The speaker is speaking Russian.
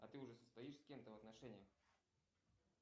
а ты уже состоишь с кем то в отношениях